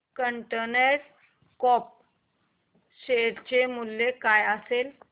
container Corp share चे मूल्य काय असेल